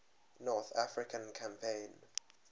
north african campaign